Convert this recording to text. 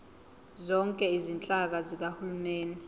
zonke izinhlaka zikahulumeni